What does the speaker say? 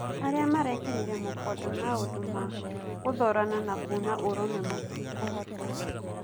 "Aria maraikirira mũkonde maũndu ma gũthorana na kuuna ũrumwe matikohota.